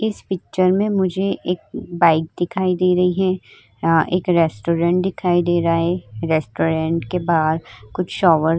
इस पिक्चर में मुझे एक बाइक दिखाई दे रही है। यहाँ एक रेस्टोरेंट दिखाई दे रहा है। रेस्टोरेंट के बाहर कुछ शॉवर --